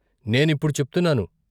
నేనిప్పుడు చెప్తున్నాను.